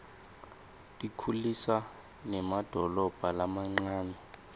tikhulisa nemadolobha lamancane